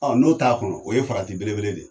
Ɔ n'o t'a kɔnɔ o ye farati belebele de ye.